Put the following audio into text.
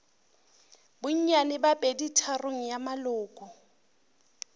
bonnyane bja peditharong ya maloko